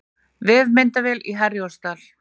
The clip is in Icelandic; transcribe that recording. Vefmyndavél í Herjólfsdal